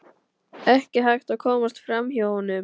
Ekki hægt að komast fram hjá honum.